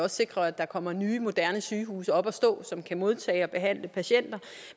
sikrer at der kommer nye moderne sygehuse op at stå som kan modtage og behandle patienter